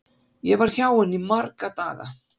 Ég var hjá henni í marga daga.